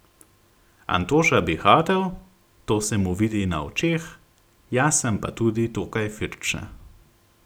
Antoša bi hotel, to se mu vidi na očeh, jaz sem pa tudi dokaj firbčna.